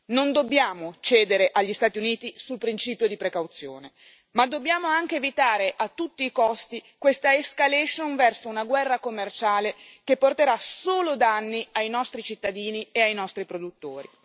Non dobbiamo cedere agli Stati Uniti sul principio di precauzione, ma dobbiamo anche evitare a tutti i costi questa escalation verso una guerra commerciale che porterà solo danni ai nostri cittadini e ai nostri produttori.